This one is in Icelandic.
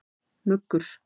Muggur